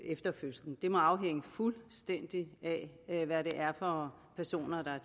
efter fødslen det må afhænge fuldstændig af af hvad det er for personer der er